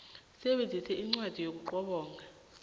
sisebenzisa inqondo ukuqobonga